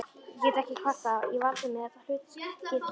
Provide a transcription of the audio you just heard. Ég get ekki kvartað, ég valdi mér þetta hlutskipti sjálfur